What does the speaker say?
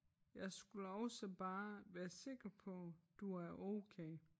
Jeg skulle også bare være sikker på du er okay